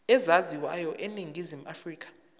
ezaziwayo eningizimu afrika